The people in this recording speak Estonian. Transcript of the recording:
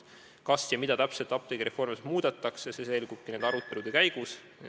Kas ja mida täpselt apteegireformis muudetakse, see selgubki nüüd arutelude käigus.